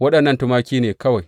Waɗannan tumaki ne kawai.